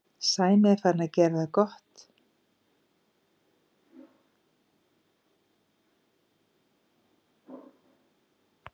Sæmi er farinn að gera það svo gott að við ættum að geta það.